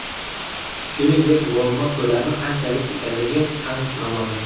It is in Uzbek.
Shuningdek, muammo ko‘lami qanchalik ekanligi ham noma’lum.